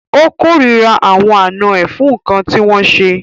O kòrira àwọn àná ẹ fún nkán ti wọn ṣe.